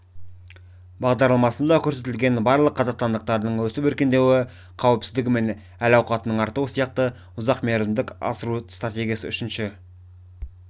бағдарламасында көрсетілген барлық қазақстандықтардың өсіп-өркендеуі қауіпсіздігі мен әл-ауқатының артуы сияқты ұзақ мерзімдік асыру стратегиясын үшінші